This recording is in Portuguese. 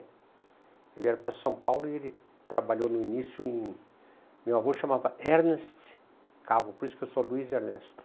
Eles vieram para São Paulo e ele trabalhou no início em... Meu avô se chamava Ernest Cabo, por isso que eu sou Luiz Ernesto.